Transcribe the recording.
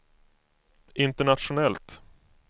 internationellt